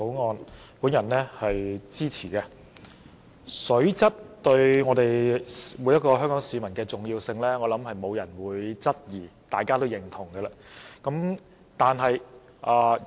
我相信沒有人會質疑水質對每位香港市民的重要，這是大家都認同的。